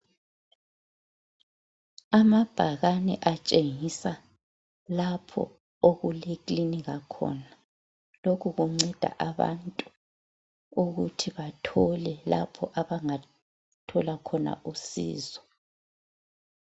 Amabhakane etshengisa lapho okuleklinika khona, lokhu kunceda abantu ukuthi bathole lapho abangathola khona usizo.